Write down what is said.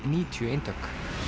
níutíu eintök